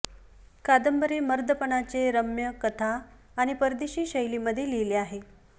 कादंबरी मर्दपणाचे रम्य कथा आणि परदेशी शैली मध्ये लिहिले आहे